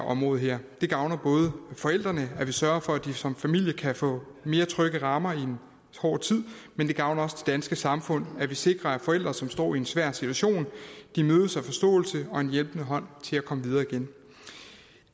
område her det gavner både forældrene at vi sørger for at de som familie kan få mere trygge rammer i en hård tid men det gavner også det danske samfund at vi sikrer at forældre som står i en svær situation mødes af forståelse og en hjælpende hånd til at komme videre igen